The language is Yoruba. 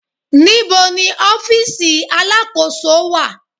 Níbo ni ọ́fíìsì Alákóso wà?